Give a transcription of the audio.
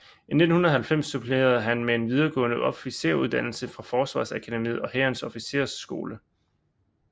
I 1990 supplerede han med en videregående officersuddannelse fra Forsvarsakademiet og Hærens Officersskole